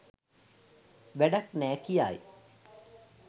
වැඩක් නෑ කියයි.